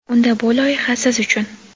Unda bu loyiha siz uchun.